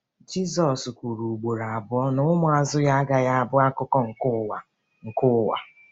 Jizọs kwuru ugboro abụọ na ụmụazụ ya agaghị abụ akụkụ nke ụwa nke ụwa.